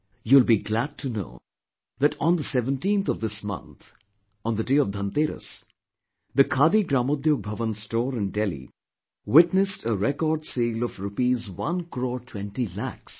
You will be glad to know that on the 17th of this month on the day of Dhanteras, the Khadi Gramodyog Bhavan store in Delhi witnessed a record sale of Rupees one crore, twenty lakhs